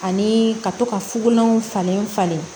Ani ka to ka fukolanw falen falen